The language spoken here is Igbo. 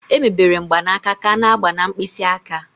Emebere mgbanaka ka a n'agba na mkpịsị aka